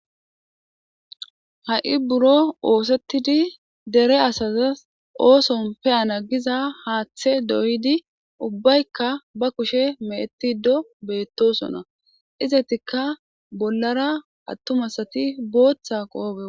Ha'i buro osetidi dere osoni pe'ana giza hathe doyidi ubayika ba kushe mechetido betosona izatika bollan atuma asati botha qophe woxidi